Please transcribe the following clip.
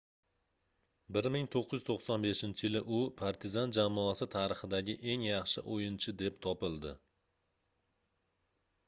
1995-yili u partizan jamoasi tarixidagi eng yaxshi oʻyinchi deb topildi